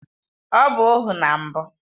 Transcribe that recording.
Ọ bụ ohu na mbụ